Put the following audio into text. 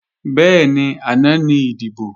Bẹ́ẹ̀ni, àná ní ìdìbò